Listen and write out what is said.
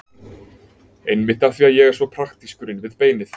Einmitt af því að ég er svo praktískur inn við beinið.